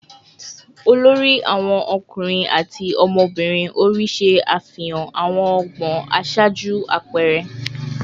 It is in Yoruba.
olori awon ọkunrin ati ọmọbirin ori ṣe afihan awọn ọgbọn aṣaaju apẹẹrẹ